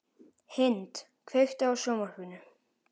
Hind, kveiktu á sjónvarpinu.